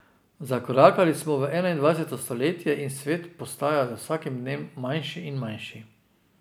Zakorakali smo v enaindvajseto stoletje in svet postaja z vsakim dnem manjši in manjši.